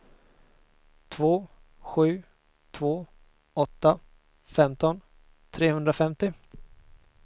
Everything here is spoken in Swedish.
två sju två åtta femton trehundrafemtio